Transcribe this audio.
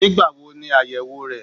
Nígbà wo ni áyèwò rẹ?